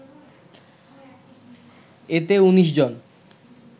এতে ১৯ জন